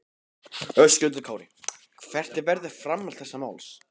Höskuldur Kári: Hvert verður framhald þessa máls?